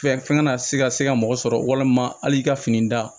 Fɛn fɛn kana se ka se ka mɔgɔ sɔrɔ walima hali i ka fini da